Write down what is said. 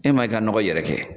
E ma i ka nɔgɔ yɛrɛkɛ